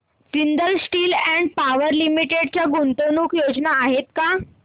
Jindal steel and power limited च्या गुंतवणूक योजना आहेत का